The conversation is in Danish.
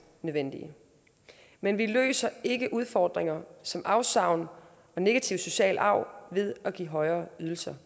nødvendige men vi løser ikke udfordringer som afsavn og negativ social arv ved at give højere ydelser